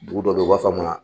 Dugu dɔ bɛ ten u b'a f'a ma